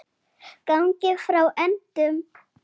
Gangið frá endum.